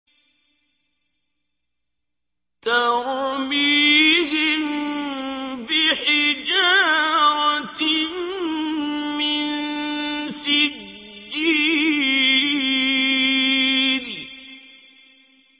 تَرْمِيهِم بِحِجَارَةٍ مِّن سِجِّيلٍ